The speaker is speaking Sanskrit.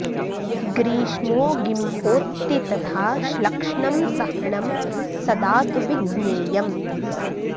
ग्रीष्मो गिम्होत्ति तथा श्लक्ष्णं सह्णं सदा तु विज्ञेयम्